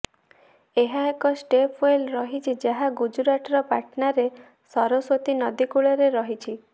ଏହା ଏକ ଷ୍ଟେପଓ୍ବେଲ୍ ରହିଛି ଯାହା ଗୁଜରାଟର ପାଟନାରେ ସରସ୍ବତୀ ନଦୀ କୂଳରେ ରହିଛି